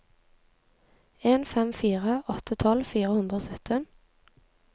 en fem fire åtte tolv fire hundre og sytten